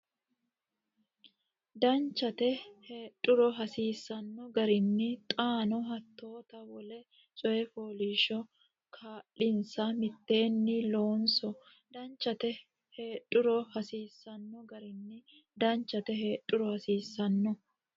Danchate heedhuro hasiisanno garinni xaano hattoota wole coy fooliishsho kaa linsa mitteenni loonso Danchate heedhuro hasiisanno garinni Danchate heedhuro hasiisanno.